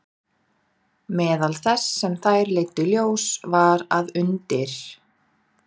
Meðal þess sem þær leiddu í ljós var að undir